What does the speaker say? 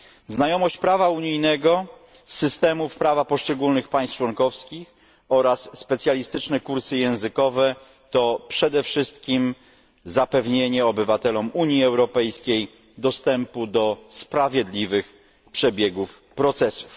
Znajomość prawa unijnego, systemów prawa poszczególnych państw członkowskich oraz specjalistyczne kursy językowe to przede wszystkim zapewnienie obywatelom Unii Europejskiej dostępu do sprawiedliwie przebiegających procesów.